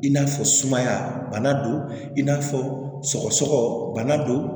I n'a fɔ sumaya bana don i n'a fɔ sɔgɔsɔgɔ bana don